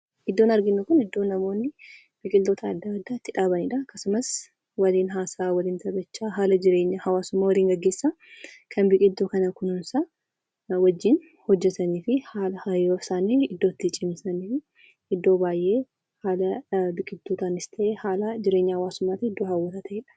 Iddoon arginu kun iddoo namoonni biqiltuuwwan adda addaa itti dhaabanidha akkasumas waliin haasawaa haala jireenya hawaasummaa waliin gaggeessan kan biqiltuu kunuunsan kan waliin hojjatan yeroo isaanii iddoo jireenya hawaasaa fi biqiltuu dhaabuutti dabarsanidha.